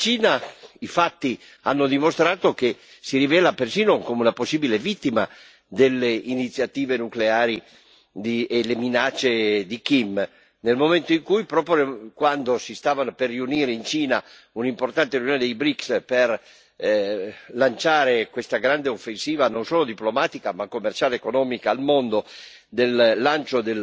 E tra l'altro, i fatti hanno dimostrato che la Cina si rivela persino come una possibile vittima delle iniziative nucleari e delle minacce di Kim, nel momento in cui, proprio quando si stava per tenersi in Cina un'importante riunione dei BRICS per lanciare al mondo questa grande offensiva, non solo diplomatica, ma commerciale ed economica,